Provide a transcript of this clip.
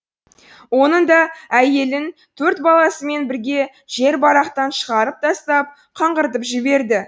оның да әйелін төрт баласымен бірге жер барақтан шығарып тастап қаңғыртып жіберді